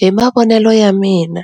Hi mavonelo ya mina,